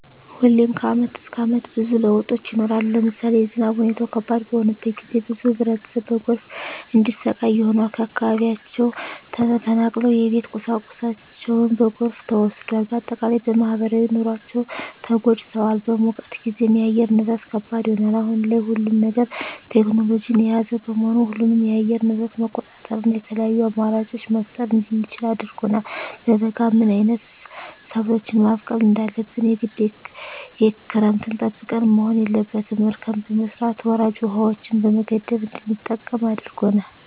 ሁሌም ከአመት እስከ አመት ብዙ ለውጦች ይኖራሉ። ለምሳሌ የዝናብ ሁኔታው ከባድ በሆነበት ጊዜ ብዙ ህብረተሰብ በጎርፍ እንዲሰቃይ ሆኗል። ከአካባቢያቸው ተፈናቅለዋል የቤት ቁሳቁሳቸው በጎርፍ ተወስዷል። በአጠቃላይ በማህበራዊ ኑሯቸው ተጎድተዋል። በሙቀት ጊዜም የአየር ንብረት ከባድ ይሆናል። አሁን ላይ ሁሉም ነገር ቴክኖሎጅን የያዘ በመሆኑ ሁሉንም የአየር ንብረት መቆጣጠር እና የተለያዪ አማራጮች መፍጠር እንድንችል አድርጎናል። በበጋ ምን አይነት ሰብሎችን ማብቀል እንዳለብን የግድ ክረምትን ጠብቀን መሆን የለበትም እርከን በመስራት ወራጅ ውሀዎችን በመገደብ እንድንጠቀም አድርጎናል።